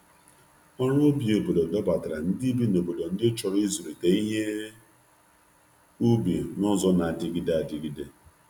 Ọrụ ubi obodo dọbatara ndị bi n’obodo ndị chọrọ ịzụlite ihe ubi n’ụzọ na-adịgide adịgide.